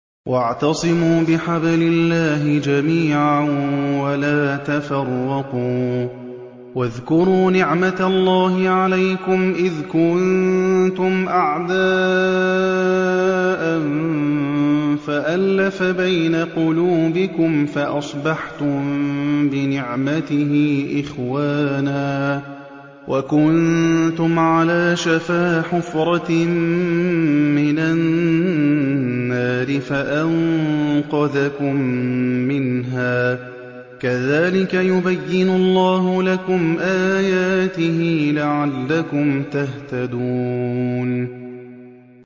وَاعْتَصِمُوا بِحَبْلِ اللَّهِ جَمِيعًا وَلَا تَفَرَّقُوا ۚ وَاذْكُرُوا نِعْمَتَ اللَّهِ عَلَيْكُمْ إِذْ كُنتُمْ أَعْدَاءً فَأَلَّفَ بَيْنَ قُلُوبِكُمْ فَأَصْبَحْتُم بِنِعْمَتِهِ إِخْوَانًا وَكُنتُمْ عَلَىٰ شَفَا حُفْرَةٍ مِّنَ النَّارِ فَأَنقَذَكُم مِّنْهَا ۗ كَذَٰلِكَ يُبَيِّنُ اللَّهُ لَكُمْ آيَاتِهِ لَعَلَّكُمْ تَهْتَدُونَ